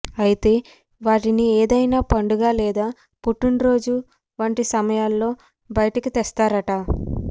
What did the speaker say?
అయితే వాటిని ఏదైనా పండుగ లేదా పుట్టినరోజు వంటి సమయాల్లో బయటికి తీస్తారట